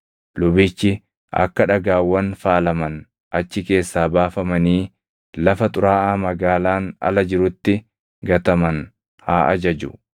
lubichi akka dhagaawwan faalaman achi keessaa baafamanii lafa xuraaʼaa magaalaan ala jirutti gataman haa ajaju.